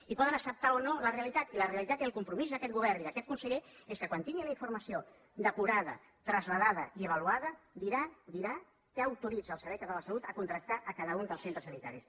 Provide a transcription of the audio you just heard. i poden acceptar o no la realitat i la realitat i el compromís d’aquest govern i d’aquest conseller és que quan tingui la informació depurada traslladada i avaluada dirà què autoritza al servei català de la salut a contractar a cada un dels centres sanitaris